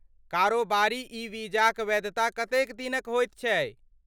कारोबारी ई वीजाक वैधता कतेक दिनक होइत छै?